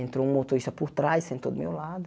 Entrou um motorista por trás, sentou do meu lado.